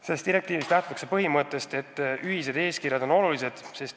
Selles direktiivis lähtutakse põhimõttest, et ühised eeskirjad on olulised.